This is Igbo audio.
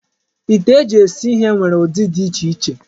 Ite eji esi ihe nwere ụdị dị iche iche.